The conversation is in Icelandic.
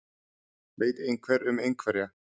Veit einhver um einhverja?